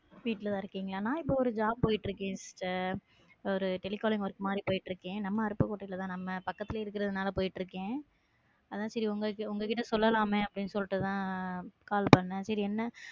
வீட்டுலதான் இருக்கீங்களா? நான் இப்ப ஒரு job போயிட்டு இருக்கேன் sister ஒரு telecalling work மாதிரி போயிட்டு இருக்கேன். நம்ம அருப்புக்கோட்டையில தான் நம்ம பக்கத்திலேயே இருக்கிறதனால போயிட்டு இருக்கேன் அதான் சரி உங்கள்~ உங்ககிட்ட சொல்லலாமே அப்டின்னு சொலிட்டு தான்அஹ் call பண்ணேன். சரி என்ன?